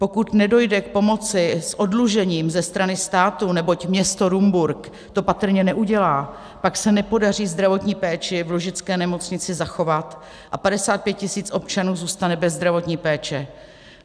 Pokud nedojde k pomoci s oddlužením ze strany státu, neboť město Rumburk to patrně neudělá, pak se nepodaří zdravotní péči v Lužické nemocnici zachovat a 55 tisíc občanů zůstane bez zdravotní péče.